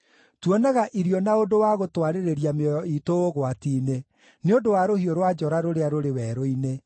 Tuonaga irio na ũndũ wa gũtwarĩrĩria mĩoyo iitũ ũgwati-inĩ, nĩ ũndũ wa rũhiũ rwa njora rũrĩa rũrĩ werũ-inĩ.